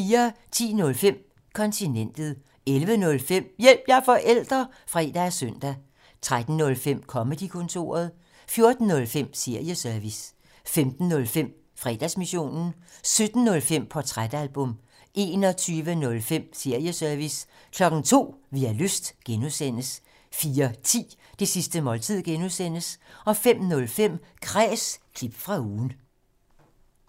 10:05: Kontinentet 11:05: Hjælp – jeg er forælder! (fre og søn) 13:05: Comedy-kontoret 14:05: Serieservice 15:05: Fredagsmissionen 17:05: Portrætalbum 21:05: Serieservice 02:00: Vi har lyst (G) 04:10: Det sidste måltid (G) 05:05: Kræs – klip fra ugen